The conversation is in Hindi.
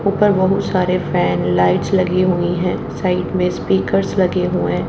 ऊपर बहुत सारे फैन लाइट्स लगी हुई हैं साइड में स्पीकर्स लगे हुएं--